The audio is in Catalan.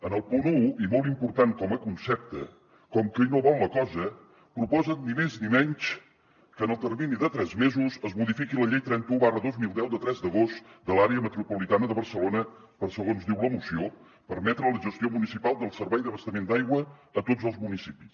en el punt un i molt important com a concepte com qui no vol la cosa proposen ni més ni menys que en el termini de tres mesos es modifiqui la llei trenta un dos mil deu de tres d’agost de l’àrea metropolitana de barcelona per segons diu la moció permetre la gestió municipal del servei d’abastament d’aigua a tots els municipis